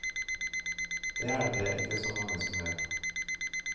Det er det ikke så mange som vet.